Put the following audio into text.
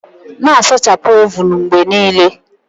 Na-asachapụ ovun mgbe niile.